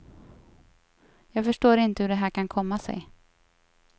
Jag förstår inte hur det här kan komma sig.